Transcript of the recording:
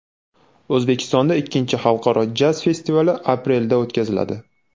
O‘zbekistonda ikkinchi Xalqaro jaz festivali aprelda o‘tkaziladi.